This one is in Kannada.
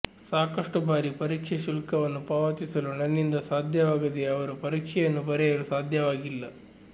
ಸಾಕಷ್ಟು ಬಾರಿ ಪರೀಕ್ಷೆ ಶುಲ್ಕವನ್ನು ಪಾವತಿಸಲು ನನ್ನಿಂದ ಸಾಧ್ಯವಾಗದೇ ಅವರು ಪರೀಕ್ಷೆಯನ್ನು ಬರೆಯಲು ಸಾಧ್ಯವಾಗಿಲ್ಲ